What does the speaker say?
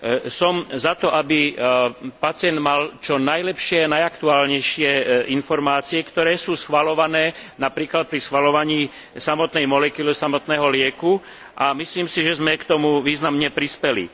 Som za to, aby pacient mal čo najlepšie, najaktuálnejšie informácie, ktoré sú schvaľované napríklad pri schvaľovaní nového liečiva a myslím si, že sme k tomu významne prispeli.